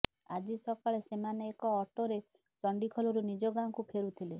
ଆଜି ସକାଳେ ସେମାନେ ଏକ ଅଟୋରେ ଚଣ୍ଡିଖୋଲରୁ ନିଜ ଗାଁକୁ ଫେରୁଥିଲେ